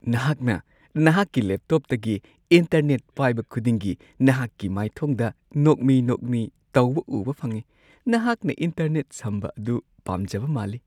ꯅꯍꯥꯛꯅ ꯅꯍꯥꯛꯀꯤ ꯂꯦꯞꯇꯣꯞꯇꯒꯤ ꯏꯟꯇꯔꯅꯦꯠ ꯄꯥꯏꯕ ꯈꯨꯗꯤꯡꯒꯤ ꯅꯍꯥꯛꯀꯤ ꯃꯥꯏꯊꯣꯡꯗ ꯅꯣꯛꯃꯤ-ꯅꯣꯛꯃꯤ ꯇꯧꯕ ꯎꯕ ꯐꯪꯉꯤ꯫ ꯅꯍꯥꯛꯅ ꯏꯟꯇꯔꯅꯦꯠ ꯁꯝꯕ ꯑꯗꯨ ꯄꯥꯝꯖꯕ ꯃꯥꯜꯂꯤ !